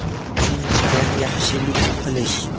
Uchinchidan, yaxshilik qilish.